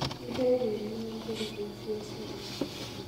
Nĩ ndaiguire nĩ waambĩrĩria biacara ya ũrĩmi.